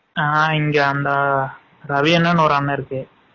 ஆ இங்க அந்த ரவி அன்னானு ஒரு அன்னன் இருக்கு.